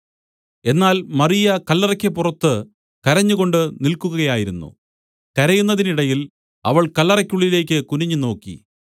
എന്നാൽ മറിയ കല്ലറയ്ക്ക് പുറത്തു കരഞ്ഞുകൊണ്ട് നിൽക്കുകയായിരുന്നു കരയുന്നതിനിടയിൽ അവൾ കല്ലറയ്ക്കുള്ളിലേക്ക് കുനിഞ്ഞുനോക്കി